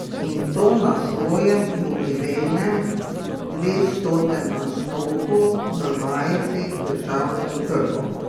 In to na svojem jubilejnem dvestotem nastopu v majici z državnim grbom!